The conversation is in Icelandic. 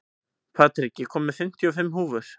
Patrik, ég kom með fimmtíu og fimm húfur!